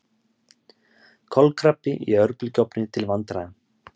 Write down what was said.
Kolkrabbi í örbylgjuofni til vandræða